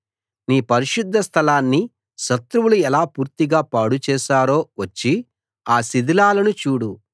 నీ పరిశుద్ధ స్థలాన్ని శత్రువులు ఎలా పూర్తిగా పాడు చేశారో వచ్చి ఆ శిథిలాలను చూడు